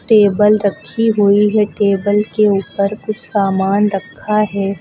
Table रखी हुई है टेबल के ऊपर कुछ सामान रखा है।